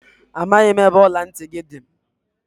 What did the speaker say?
Amaghị m ebe ọla ntị gị dị.